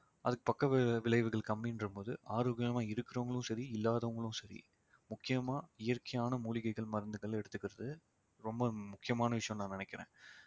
அதுக்கு பக்க வி~ விளைவுகள் கம்மின்ற போது ஆரோக்கியமா இருக்கிறவங்களும் சரி இல்லாதவங்களும் சரி முக்கியமா இயற்கையான மூலிகைகள் மருந்துகள் எடுத்துக்கிறது ரொம்ப முக்கியமான விஷயம்னு நான் நினைக்கிறேன்